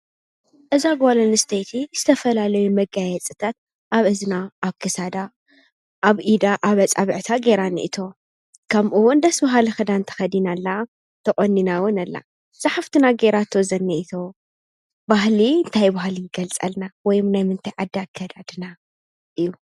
እዛ ጓለስተይቲ ዝተፈላለዩ መጋየፂታት ኣብ እዝና ኣብ ክሳዳ ኣብ ኢዳ ኣብ ኣፃብዕታ ገይራ ኒእቶ። ከምኡውን ደስውሃሊ ኽዳንተ ኸዲና ኣላ ተቖኒናወን ኣላን ዝሓፍትና ገይራ ዝኒኢቶ ባህሊ እንታይ ባሃሊ ይገልጸልና ወይም ናይምእንታይ ዓዳ ኣካዳድና እዩ።